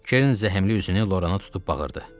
Kerin zəhmli üzünü Lorana tutub baxırdı.